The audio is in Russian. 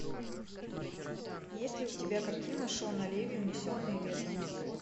есть ли у тебя картина шона леви унесенные ветром